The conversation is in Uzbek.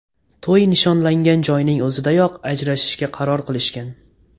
To‘y nishonlangan joyning o‘zidayoq ajrashishga qaror qilishgan.